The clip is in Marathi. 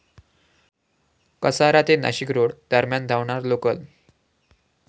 कसारा ते नाशिकरोड दरम्यान धावणार लोकल